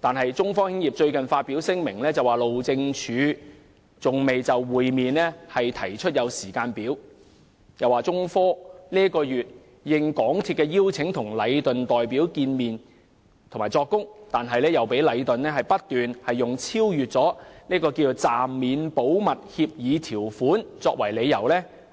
然而，中科最近發表聲明表示，路政署仍未就與其會面提出時間表，又指中科本月應港鐵公司邀請與禮頓建築有限公司的代表會面並作供，但卻被禮頓代表不斷以超越暫免保密協議條款為由